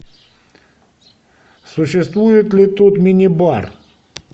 существует ли тут мини бар